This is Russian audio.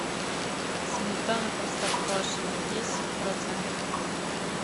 сметана простоквашино десять процентов